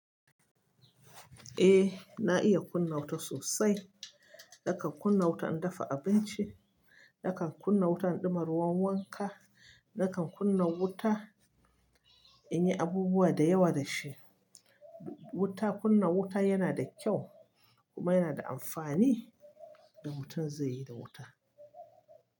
Eh na iya kunna wuta sosai. Nakan kunna wuta in dafa abinci, nakan kunna wuta in ɗuma ruwan wanka, nakan kunna wuta in yi abubuwa da yawa da shi. Wuta, kunna wuta yana da kyau kuma yana da amfani. Rubutun zai yi da wuta.